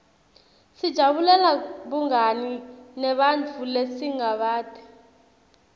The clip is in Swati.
sijabulela bungani nebantfu lesingabati